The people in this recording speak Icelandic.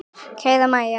Kæra Mæja.